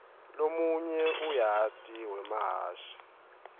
lomunye unyaito wemahhashi